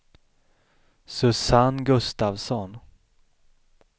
Susanne Gustafsson